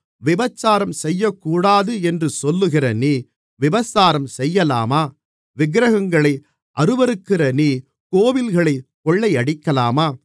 விபசாரம் செய்யக்கூடாது என்று சொல்லுகிற நீ விபசாரம் செய்யலாமா விக்கிரகங்களை அருவருக்கிற நீ கோவில்களைக் கொள்ளையடிக்கலாமா